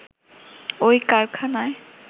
ওই কারখানায়